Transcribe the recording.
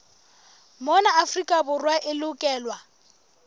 mona afrika borwa e lokelwa